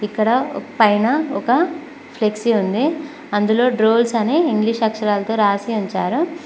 ఇక్కడ పైన ఒక ఫ్లెక్సీ ఉంది అందులో డ్రోల్స్ అనే ఇంగ్లీష్ అక్షరాలతో రాసి ఉంచారు.